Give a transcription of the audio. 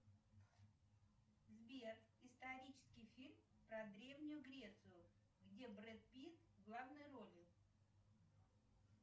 сбер исторический фильм про древнюю грецию где брэд питт в главной роли